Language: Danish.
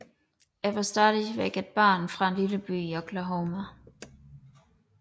Jeg var stadig et barn fra en lille by i Oklahoma